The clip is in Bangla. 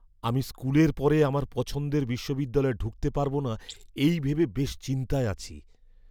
আমি স্কুলের পরে আমার পছন্দের বিশ্ববিদ্যালয়ে ঢুকতে পারব না, এই ভেবে বেশ চিন্তায় আছি।